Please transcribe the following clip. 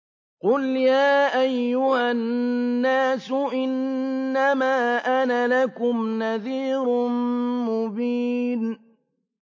قُلْ يَا أَيُّهَا النَّاسُ إِنَّمَا أَنَا لَكُمْ نَذِيرٌ مُّبِينٌ